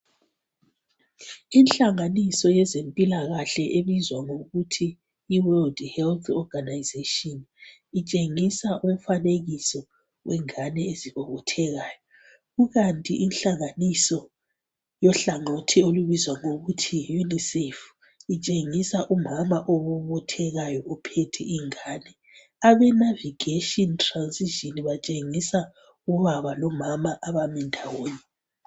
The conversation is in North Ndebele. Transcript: inhlanganiso yezempilakhle ebizwa ngokuthi yi world health organization itshengisa umfanekiso wengane ezibobothekayo kukanti inhlanganiso yohlangothi plubizwa ngokuthi yi unicef lutshengisa umama obobothekayo uphethe ingane abe navigation transition batshengisa ubaba lomama abami ndawonye